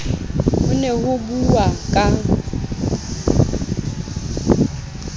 ho ne ho buuwa ka